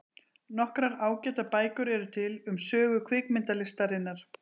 Nokkrar ágætar bækur eru til um sögu kvikmyndalistarinnar.